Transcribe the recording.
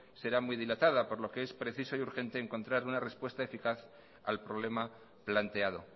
serán muy dilatada por loque es preciso y urgente encontrar una respuesta eficaz al problema planteado